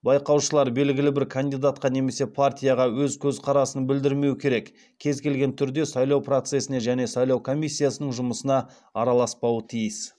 байқаушылар белгілі бір кандидатқа немесе партияға өз көзқарасын білдірмеу керек кез келген түрде сайлау процесіне және сайлау комиссиясының жұмысына араласпауы тиіс